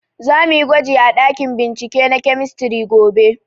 Za muyi gwaji a ɗakin bincike na kemistri gobe